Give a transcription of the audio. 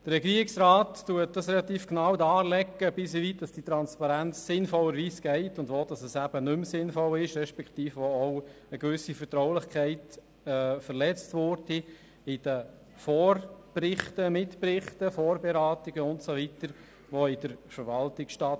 Der Regierungsrat legt recht genau dar, wie weit diese Transparenz sinnvollerweise geht und wo die Transparenz nicht mehr sinnvoll ist beziehungsweise wo auch eine gewisse Vertraulichkeit verletzt würde, wenn die Mitberichte und Vorberatungen der Verwaltung und Ähnliches zugänglich wären.